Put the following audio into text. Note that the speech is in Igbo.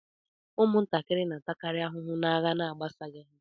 Ụmụntakịrị na-atakari ahụhụ n'agha na-agbasaghi ha.